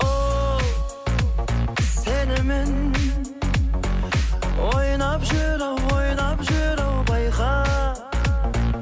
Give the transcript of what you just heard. ол сенімен ойнап жүр ау ойнап жүр ау байқа